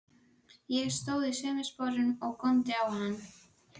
Ég stóð í sömu sporunum og góndi á hann.